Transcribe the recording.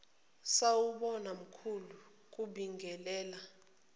sawubona mkhulu kubingelela